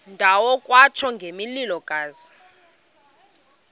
ndawo kwatsho ngomlilokazi